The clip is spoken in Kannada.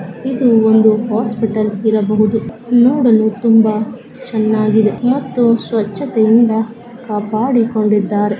ಇದು ಒಂದು ಹಾಸ್ಪಿಟಲ್ ಇರಬಹುದು ನೋಡಲು ತುಂಬಾ ಚೆನ್ನಾಗಿದೆ ಮತ್ತು ಸ್ವಚ್ಛತೆಯಿಂದ ಕಾಪಾಡಿಕೊಂಡಿದ್ದಾರೆ.